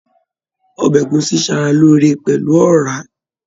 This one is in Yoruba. Ọbẹ egusi n sára lóore pẹlú ọra.